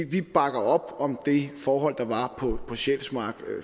vi bakker op om de forhold der var på sjælsmark